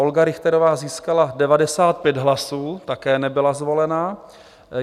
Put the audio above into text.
Olga Richterová získala 95 hlasů, také nebyla zvolena.